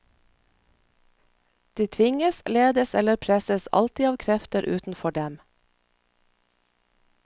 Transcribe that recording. De tvinges, ledes eller presses alltid av krefter utenfor dem.